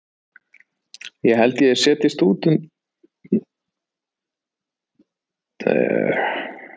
Ég held að ég setjist út undir vegg eftir hádegi ef það er gott.